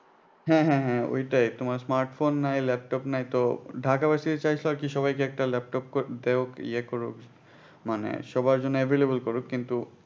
হ্যাঁ হ্যাঁ হ্যাঁ ওটায় তোমার smartphone নাই laptop নাই তো ঢাকা versity চাইছিলো সবাইকে একটা laptop যাইহোক ইয়ে করুক মানে সবার জন্য available করুক কিন্তু